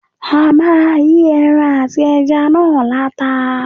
A máa yí ẹran àti ẹja náà láta.